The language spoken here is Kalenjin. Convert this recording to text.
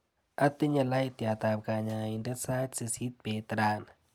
Atinye laitiatap kanyaindet sait sisit beet rani.